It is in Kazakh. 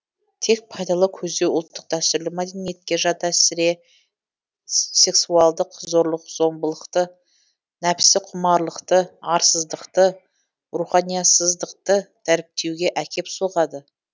тек пайдалы көздеу ұлттық дәстүрлі мәдениетке жат әсіре сексуалдық зорлық зом былықты нәпсіқұмарлықты арсыздықты руханиясыздықты дәріптеуге әкеп соғады